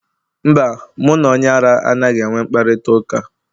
Mba, mụ na onye ara anaghị enwe mkparịta ụka.